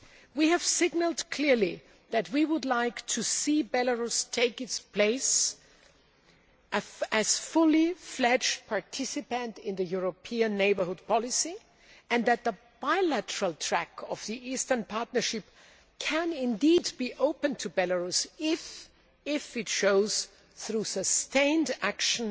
We have signalled clearly that we would like to see Belarus take its place as a fully fledged participant in the European neighbourhood policy, and that the bilateral track of the Eastern Partnership can be opened to Belarus if it shows through sustained action